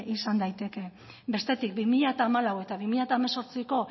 izan daiteke bestetik bi mila hamalau eta bi mila hemezortziko